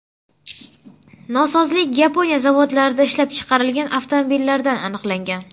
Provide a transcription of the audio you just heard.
Nosozlik Yaponiya zavodlarida ishlab chiqarilgan avtomobillarda aniqlangan.